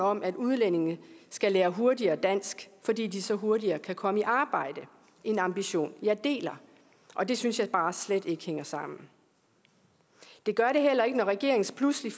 om at udlændinge skal lære hurtigere dansk fordi de så hurtigere kan komme i arbejde en ambition jeg deler og det synes jeg er bare slet ikke hænger sammen det gør det heller ikke når regeringen så pludselig